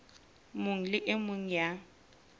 mong le e mong ya